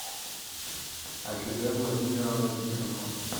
афиде владимировна тихонова